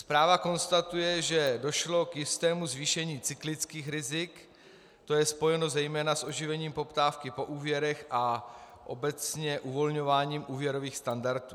Zpráva konstatuje, že došlo k jistému zvýšení cyklických rizik, to je spojeno zejména s oživením poptávky po úvěrech a obecně uvolňováním úvěrových standardů.